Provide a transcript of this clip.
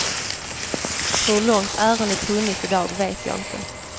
Hur långt ärendet hunnit i dag vet jag inte.